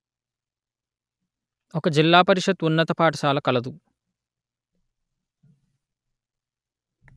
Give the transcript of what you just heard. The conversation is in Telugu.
ఒక జిల్లా పరిషత్ ఉన్నత పాఠశాల కలదు